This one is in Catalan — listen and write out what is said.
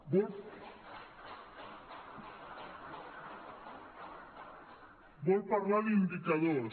vol parlar d’indicadors